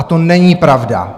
A to není pravda.